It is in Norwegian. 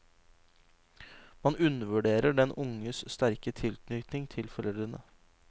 Man undervurderer den unges sterke tilknytning til foreldrene.